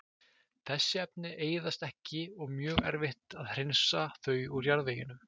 Þessi efni eyðast ekki og mjög erfitt að hreinsa þau úr jarðveginum.